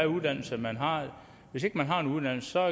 uddannelse man har hvis ikke man har en uddannelse